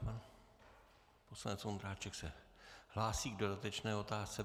Pan poslanec Ondráček se hlásí k dodatečné otázce.